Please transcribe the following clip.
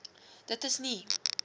dit is nie